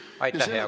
Aitäh, hea kolleeg!